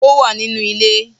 Ó wà nínú ilé